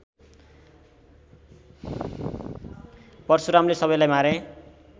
परशुरामले सबैलाई मारे